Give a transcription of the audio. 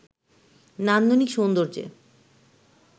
নান্দনিক সৌন্দর্যে